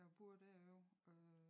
Da a boede derovre øh